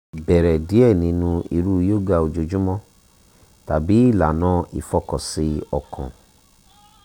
bẹrẹ diẹ ninu iru yoga ojoojumọ tabi ilana ifọkansi ọkan